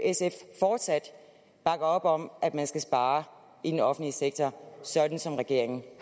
sf fortsat op om at man skal spare i den offentlige sektor sådan som regeringen